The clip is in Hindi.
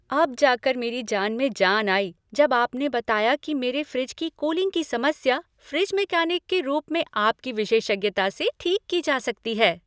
अब जाकर मेरी जान में जान आई जब आपने बताया कि मेरे फ़्रिज की कूलिंग की समस्या फ़्रिज मैकेनिक के रूप में आपकी विशेषज्ञता से ठीक की जा सकती है।